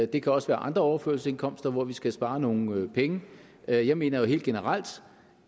det kan også være andre overførselsindkomster hvor vi skal spare nogle penge jeg jeg mener jo helt generelt